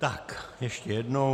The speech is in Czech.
Tak ještě jednou.